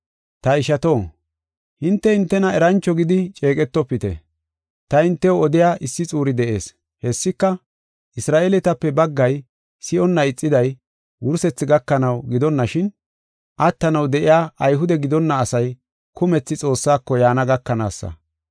Ta ishato, hinte hintena erancho gidi ceeqetofite. Ta hintew odiya issi xuuri de7ees. Hessika Isra7eeletape baggay si7onna ixiday wursethi gakanaw gidonashin, attanaw de7iya Ayhude gidonna asay kumethi Xoossako yaana gakanaasa.